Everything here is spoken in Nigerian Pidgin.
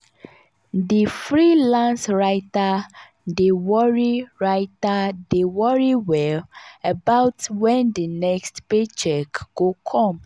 di freelance writer dey worry writer dey worry well about wen di next paycheck go come.